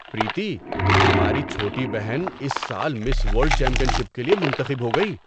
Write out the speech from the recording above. پریتی! ہماری چھوٹی بہن اس سال مس ورلڈ چیمپئن شپ کے لیے منتخب ہو گئی!